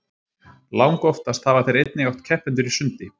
langoftast hafa þeir einnig átt keppendur í sundi